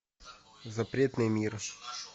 запретный мир